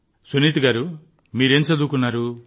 సునీత గారూ మీరేం చదువుకున్నారు